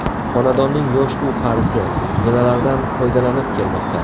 Xonadonning yosh-u qarisi, zinalardan foydalanib kelmoqda.